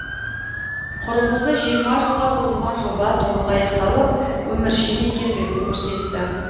құрылысы жиырма жылға созылған жоба толық аяқталып өміршең екендігін көрсетті